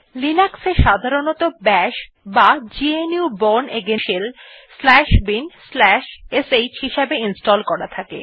Linux এ সাধারনতঃ Bash বা GNU bourne again shell shell binsh হিসাবে ইনস্টল করা থাকে